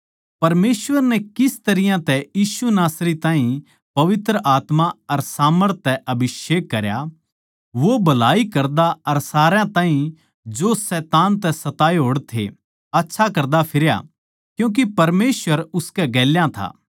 परमेसवर नै किस तरियां तै यीशु नासरी ताहीं पवित्र आत्मा अर सामर्थ तै अभिषेक करया वो भलाई करदा अर सारया ताहीं जो शैतान के सताए होड़ थे आच्छा करदा फिरया क्यूँके परमेसवर उसकै गेल्या था